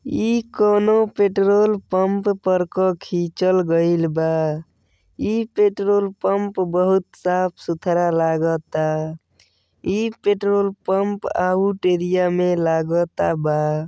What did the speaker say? इ कौनो petrol pump पर क खींचल गइल बा। इ पेट्रोल पम्प बहुत साफ सुथरा लागता। इ पेट्रोल पम्प आउट एरिया में लागता बा।